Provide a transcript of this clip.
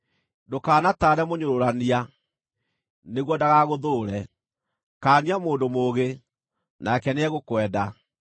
Ndũkanataare mũnyũrũrania, nĩguo ndagagũthũũre; kaania mũndũ mũũgĩ, nake nĩegũkwenda.